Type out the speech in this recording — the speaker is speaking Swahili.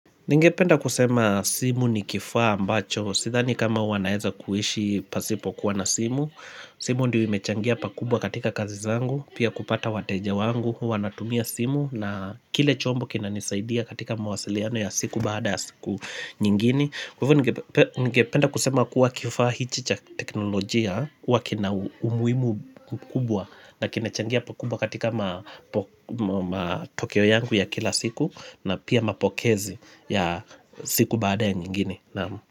Ningependa kusema simu ni kifaa ambacho, sidhani kama wanaeza kuhishi pasipokuwa na simu, simu ndio imechangia pakubwa katika kazi zangu, pia kupata wateja wangu, huwa natumia simu na kile chombo kinanisaidia katika mawasiliano ya siku baada ya siku nyingini. Kwa ivo ningependa kusema kuwa kifaa hichi cha teknolojia huwa kina umuimu kubwa na kimechangia pakubwa katika matokeo yangu ya kila siku na pia mapokezi ya siku baada ya nyingine.